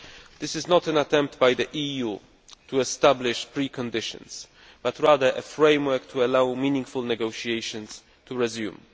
This is not an attempt by the EU to establish pre conditions, but rather a framework to allow meaningful negotiations to resume.